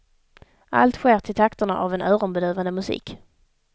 Allt sker till takterna av en öronbedövande musik.